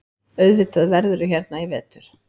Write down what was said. Auðvitað verðurðu hérna í vetur.